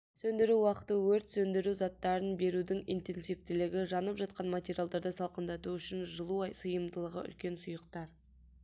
сөндіру уақыты өрт сөндіру заттарын берудің интенсивтілігі жанып жатқан материалдарды салқындату үшін жылу сыйымдылығы үлкен сұйықтар